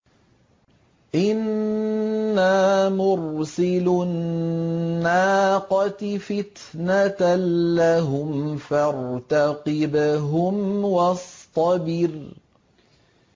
إِنَّا مُرْسِلُو النَّاقَةِ فِتْنَةً لَّهُمْ فَارْتَقِبْهُمْ وَاصْطَبِرْ